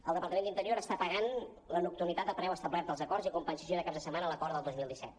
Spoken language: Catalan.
el departament d’interior està pagant la nocturni·tat al preu establert als acords i compensació de caps de setmana a l’acord del dos mil disset